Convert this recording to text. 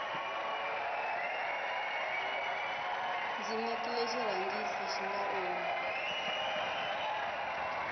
ndzi nekile xirhangisi xinga omi